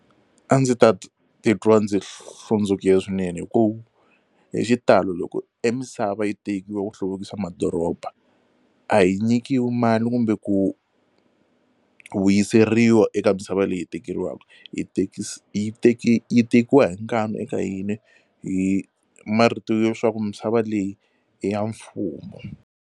A ndzi ta titwa ndzi hlundzukile swinene hi ku hi xitalo loko e misava yi tekiwa ku hluvukisa madoroba a hi nyikiwi mali kumbe ku vuyiseriwa eka misava leyi hi tekeriwaka yi yi tekiwa hi nkani eka yini hi marito yo leswaku misava leyi i ya mfumo.